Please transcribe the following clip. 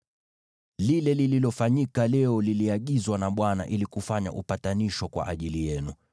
Lile lililofanyika leo liliagizwa na Bwana ili kufanya upatanisho kwa ajili yenu.